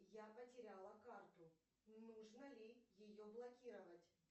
я потеряла карту нужно ли ее блокировать